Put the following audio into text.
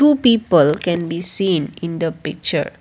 two people can be seen in the picture.